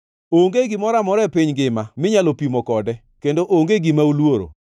Onge gimoro amora e piny ngima minyalo pimo kode, kendo onge gima oluoro.